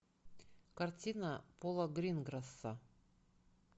картина пола гринграсса